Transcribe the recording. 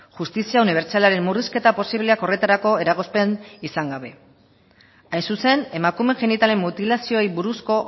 justizia unibertsalaren murrizketa posibleak horretarako eragozpen izan gabe hain zuzen emakumeen genitalen mutilazioei buruzko